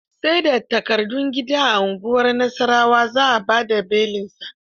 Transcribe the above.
Sai da takardun gida a unguwar Nasarawa za a ba da belinsa